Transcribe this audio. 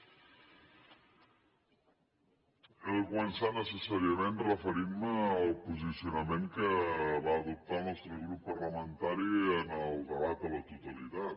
he de començar necessàriament referint me al posicionament que va adoptar el nostre grup parlamentari en el debat a la totalitat